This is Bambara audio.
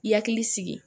Hakili sigi